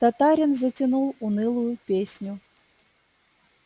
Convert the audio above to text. татарин затянул унылую песню